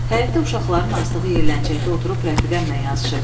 Həyətdə uşaqların asdığı yeləncəkdə oturub rəfiqəmlə yazışırdım.